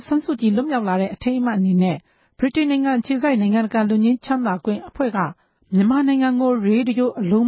ဆန်းစုကြည် လွတ်မြောက်တဲ့ အထိမ်းအမှတ်အဖြစ် AI- Amnesty International နိုင်ငံတကာ လွတ်ငြိမ်းချမ်းသာခွင့်အဖွဲ့က မြန်မာပြည်တွင်းကို ရေဒီယို အလုံး